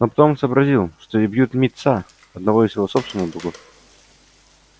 но потом сообразил что и бьют мит са одного из его собственных богов